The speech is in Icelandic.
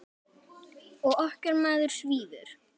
Og okkar maður svífur.